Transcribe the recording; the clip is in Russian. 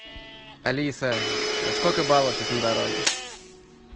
алиса сколько баллов сейчас на дороге